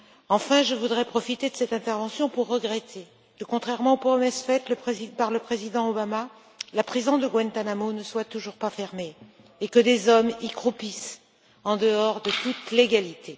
Enfin, je voudrais profiter de cette intervention pour regretter que, contrairement aux promesses faites par le président Obama, la prison de Guantanamo ne soit toujours pas fermée et que des hommes y croupissent, en dehors de toute légalité.